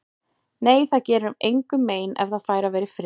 Nei, það gerir engum mein ef það fær að vera í friði.